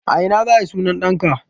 A ina za a yi sunan ɗanka?